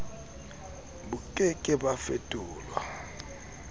bo ke ke ba fetolwa